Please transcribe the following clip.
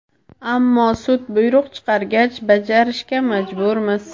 Ammo sud buyruq chiqargach, bajarishga majburmiz.